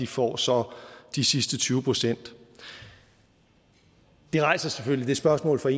får så de sidste tyve procent det rejser selvfølgelig spørgsmålet